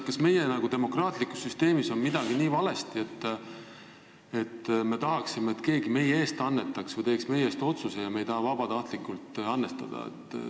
Kas meie demokraatlikus süsteemis on midagi nii valesti, et me tahaksime, et keegi meie eest annetaks või teeks meie eest otsuseid, ja me ei taha vabatahtlikult annetada?